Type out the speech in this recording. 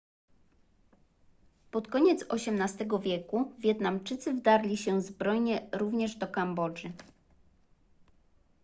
pod koniec xviii wieku wietnamczycy wdarli się zbrojnie również do kambodży